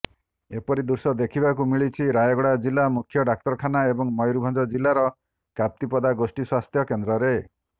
ଏପରି ଦୃଶ୍ୟ ଦେଖିବାକୁ ମିଳିଛି ରାୟଗଡ଼ା ଜିଲ୍ଲା ମୁଖ୍ୟ ଡାକ୍ତରଖାନା ଏବଂ ମୟୂରଭଞ୍ଜ ଜିଲ୍ଲାର କପ୍ତିପଦା ଗୋଷ୍ଠୀ ସ୍ୱାସ୍ଥ୍ୟକେନ୍ଦ୍ରରେ